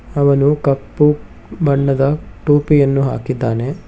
ಅವನು ಕಪ್ಪು ಬಣ್ಣದ ಟೋಪಿಯನ್ನು ಹಾಕಿದ್ದಾನೆ.